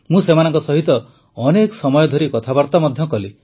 ମୁଁ ସେମାନଙ୍କ ସହିତ ଅନେକ ସମୟ ଧରି କଥାବାର୍ତା ମଧ୍ୟ କଲି